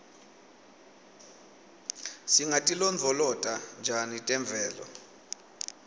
singatilondvolota njani temvelo